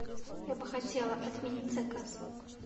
я бы хотела отменить заказ